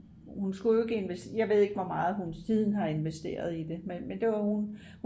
hun skulle jo ikk jeg ved ikke hvor meget hun siden har investeret i det men det var hun